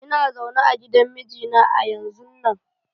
lna zaune a gidan mijina a yanzun nan.